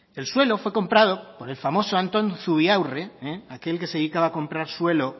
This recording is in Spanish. el suelo fue comprado por el famoso antón zubiaurre aquel que se dedicaba a comprar suelo